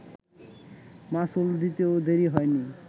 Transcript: মাসুল দিতেও দেরি হয়নি